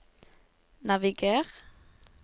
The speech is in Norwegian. naviger